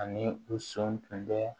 Ani u sɔn tun bɛ